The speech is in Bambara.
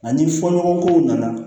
Ani fɔ ɲɔgɔnkɔw nana